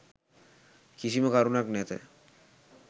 කිසිම කරුණක් නැත.